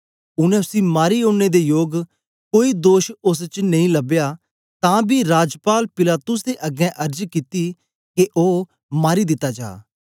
उनै उसी मारी ओड़ने दे योग कोई दोष ओस च नेई लबया तां बी राजपाल पिलातुस दे अगें अर्ज कित्ती के ओ मारी दिता जा